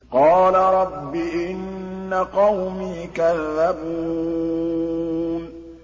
قَالَ رَبِّ إِنَّ قَوْمِي كَذَّبُونِ